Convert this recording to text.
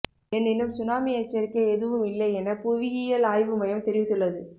எனினும் சுனாமி எச்சரிக்கை எதுவும் இல்லையென புவியியல் ஆய்வு மையம் தெரிவித்துள்ளது